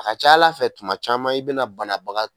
A ka ca Ala fɛ kuma caman i bɛna banabaga